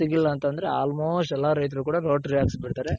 ಸಿಗ್ಲಿಲ್ಲ ಅಂತ ಅಂದ್ರೆ almost ಎಲ್ಲಾ ರೈಥರ್ಗು ಕೂಡ ಅಕ್ಸ್ಬುಡ್ತಾರೆ .